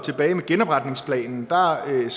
regeringen ad